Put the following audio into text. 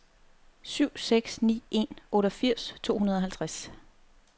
syv seks ni en otteogfirs to hundrede og halvtreds